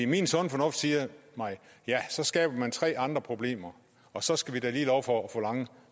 min sunde fornuft siger mig at ja så skaber man tre andre problemer og så skal vi da lige love for at få lange